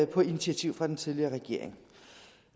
på initiativ af den tidligere regering